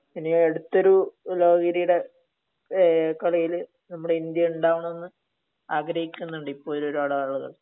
ഇനി അടുത്തൊരു ലോക കിരീടം ആഹ് കളിയിൽ നമ്മുടെ ഇന്ത്യ ഉണ്ടാവണം എന്ന് ആഗ്രഹിക്കുന്നുണ്ട് ഇപ്പോഴും ഒരുപാട് ആളുകൾ